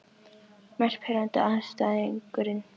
Mest pirrandi andstæðingurinn?